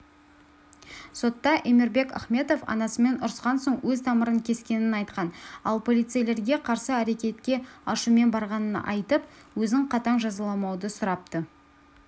сотта эмирбек ахметов анасымен ұрысқан соң өз тамырын кескенін айтқан ал полицейлерге қарсы әрекетке ашумен барғанын айтып өзін қатаң жазаламауды сұрапты